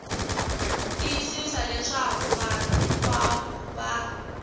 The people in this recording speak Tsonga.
tiyisisa leswaku vanhu hinkwavo va